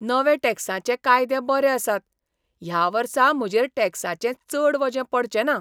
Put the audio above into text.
नवे टॅक्साचें कायदे बरे आसात! ह्या वर्सा म्हजेर टॅक्साचें चड वजें पडचें ना!